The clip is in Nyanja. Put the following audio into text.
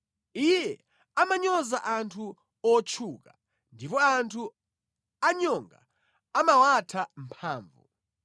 Iye amanyoza anthu otchuka ndipo anthu anyonga amawatha mphamvu.